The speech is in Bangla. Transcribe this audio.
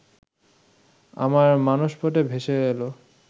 আমার মানসপটে ভেসে এলো